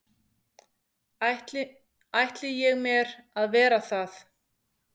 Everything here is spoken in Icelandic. ætli ég mér að vera það.